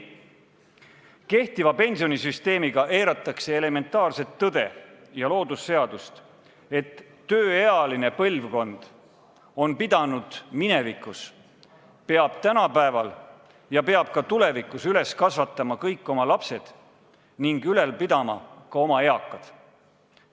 Kehtiva pensionisüsteemiga eiratakse elementaarset tõde ja loodusseadust, et tööealine põlvkond on pidanud minevikus, peab tänapäeval ja peab ka tulevikus üles kasvatama kõik oma lapsed ning ülal pidama ka oma eakad.